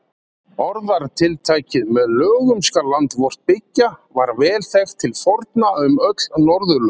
Orðatiltækið með lögum skal land vort byggja var vel þekkt til forna um öll Norðurlönd.